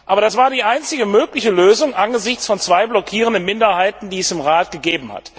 Aber das war die einzige mögliche Lösung angesichts von zwei blockierenden Minderheiten, die es im Rat gab.